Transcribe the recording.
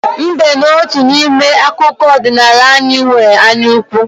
Mbe n'otu n'ime akụkọ ọdịnala anyị nwere anyaukwu.